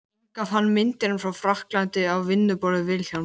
Inga fann myndirnar frá frakklandi á vinnuborði Vilhjálms.